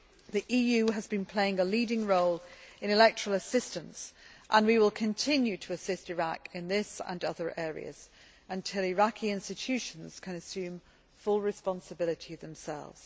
The EU has been playing a leading role in electoral assistance, and we will continue to assist Iraq in this and other areas until Iraqi institutions can assume full responsibility themselves.